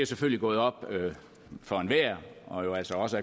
selvfølgelig gået op for enhver og altså også